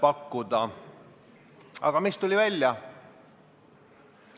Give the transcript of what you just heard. Aga mis välja tuli?